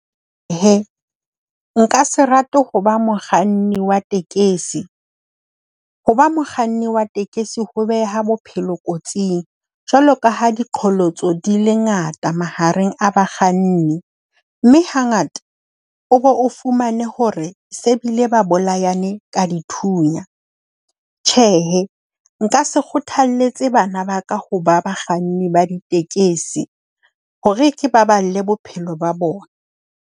E nka se rate ho ba mokganni wa tekesi. Ho ba mokganni wa tekesi ho beha bophelo kotsing jwalo ka ha diqholotso di le ngata mahareng a bakganni. Mme hangata o bo o fumane hore se bile ba bolayane ka dithunya. Tjhe, nka se kgothalletse bana ba ka ho ba bakganni ba ditekesi hore ke baballe bophelo ba bona.